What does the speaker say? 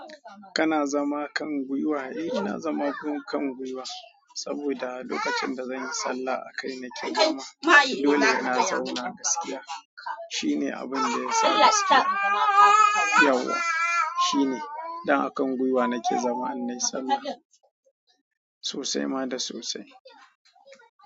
Kana zama kan gwiwa? Eh, ina zama kan gwiwa saboda lokacin da zanyi sallah a kai nake zama. Dole in na zauna gaskiya. Shine abin da ya sa ni yau. Shine idan aka gwiwa nake zama in nayi sallah. Sosai ma da sosai.